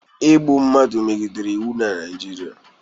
Igbu mmadụ megidere iwu na Naịjirịa.